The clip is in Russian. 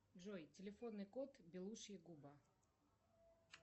джой телефонный код белушья губа